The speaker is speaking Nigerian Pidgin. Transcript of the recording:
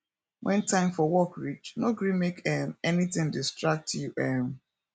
wen time for work reach no gree make um anytin distract you um